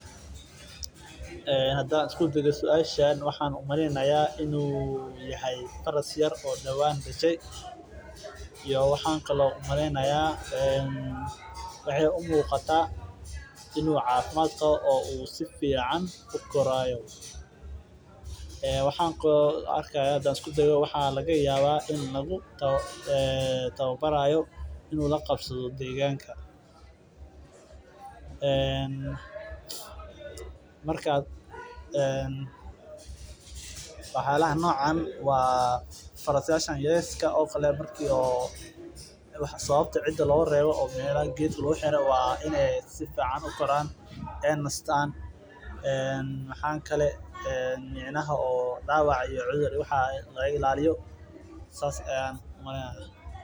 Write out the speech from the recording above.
Hadaan isku dayo suashan waxaa maleynayo inuu yahay faras yar oo hada dashe oo laga yaaba inuu cafimaad qabo oo lagu tababarayo inuu la qabsado deeganka farskan yarka ah sababta cida loogu reebo qaa inaay sifican ukoraan oo dawac laga illaiyo.